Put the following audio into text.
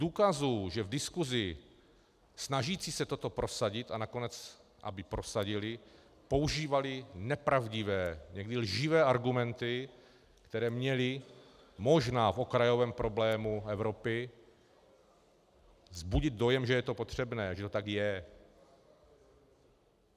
Důkazů, že v diskusi snažící se toto prosadit, a nakonec aby prosadili, používali nepravdivé, někdy lživé argumenty, které měly možná v okrajovém problému Evropy vzbudit dojem, že je to potřebné, že to tak je.